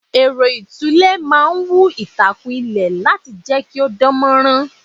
Ẹ̀rọ itule máa ń wú itakun ilẹ̀ láti jẹ́ kí ó dánmorán.